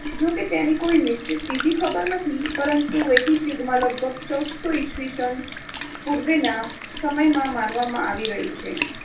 જો કે તેની કોઈ નિશ્ચિત તિથિ ખબર નથી, પરંતુ વૈદિક યુગમાં લગભગ ચૌદસો ઇસવીસન પૂર્વનાં સમયમાં માનવામાં આવી રહી છે.